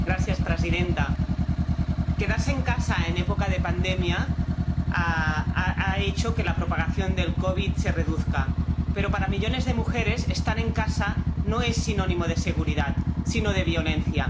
Señora presidenta, quedarse en casa en época de pandemia ha hecho que la propagación del COVID se reduzca, pero para millones de mujeres estar en casa no es sinónimo de seguridad, sino de violencia.